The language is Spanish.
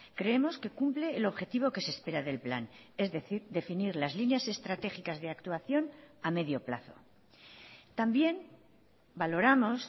creemos que cumple el objetivo que se espera del plan es decir definir las líneas estratégicas de actuación a medio plazo también valoramos